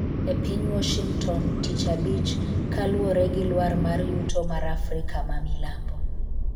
e piny Washington[tich abich] kaluwore gi lwar mar yuto mar Africa mamilambo